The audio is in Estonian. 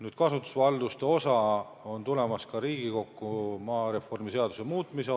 Nüüd, kasutusvaldused on tulemas ka Riigikokku seoses maareformi seaduse muutmisega.